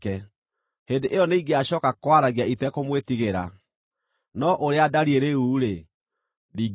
Hĩndĩ ĩyo nĩingĩacooka kwaragia itekũmwĩtigĩra, no ũrĩa ndariĩ rĩu-rĩ, ndingĩhota.